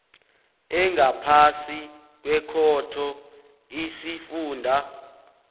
engaphasi kwekhotho isifunda